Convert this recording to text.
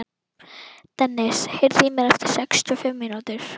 Dennis, heyrðu í mér eftir sextíu og fimm mínútur.